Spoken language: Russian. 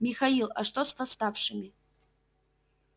михаил а что с восставшими